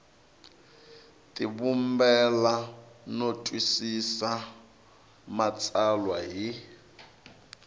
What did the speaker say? tivumbela no twisisa matsalwa hi